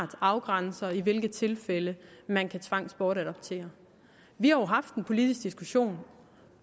afgrænser i hvilke tilfælde man kan tvangsbortadoptere vi har haft en politisk diskussion